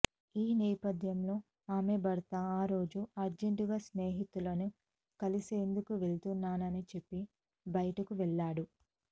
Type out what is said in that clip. ఈ నేపథ్యంలో ఆమె భర్త ఆరోజు అర్జెంటుగా స్నేహితులను కలిసేందుకు వెళ్తున్నానని చెప్పి బయటకు వెళ్లాడు